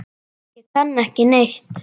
Ég kann ekki neitt.